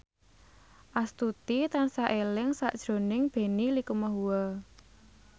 Astuti tansah eling sakjroning Benny Likumahua